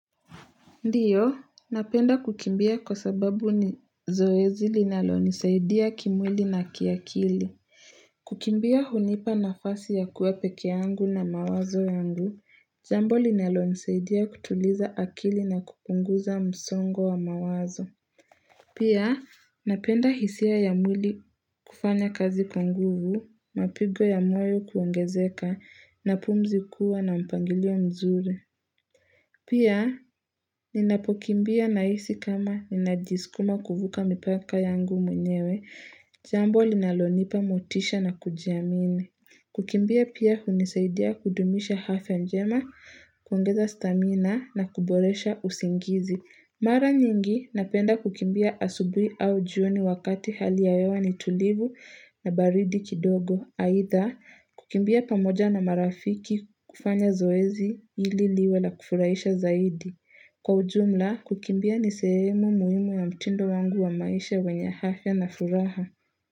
Ndio, napenda kukimbia kwa sababu ni zoezi linalo nisaidia kimwili na kiakili. Kukimbia hunipa nafasi ya kuwa peke yangu na mawazo yangu, jambo linalo nisaidia kutuliza akili na kupunguza msongo wa mawazo. Pia, napenda hisia ya mwili kufanya kazi kwa nguvu, mapigo ya moyo kuongezeka na pumzi kuwa na mpangilio mzuri. Pia ninapokimbia nahisi kama ninajiskuma kuvuka mipaka yangu mwenyewe, jambo linalonipa motisha na kujiamini. Kukimbia pia hunisaidia kudumisha afya njema, kuongeza stamina na kuboresha usingizi. Mara nyingi napenda kukimbia asubuhi au jioni wakati hali ya hewa ni tulivu na baridi kidogo. Haidha, kukimbia pamoja na marafiki kufanya zoezi ili liwe la kufuraisha zaidi. Kwa ujumla, kukimbia ni sehemu muhimu ya mtindo wangu wa maisha wenye afya na furaha.